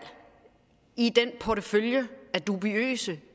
i den portefølje af dubiøse